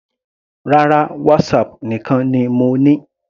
Rárá, WhatsApp nìkan ni mo ní.